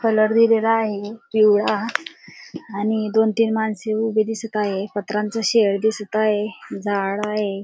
Colour दिलेला आहे पिवळा आणि दोन तीन माणसे उभी दिसत आहेत पत्र्यांच शेड दिसत आहे झाड आहे.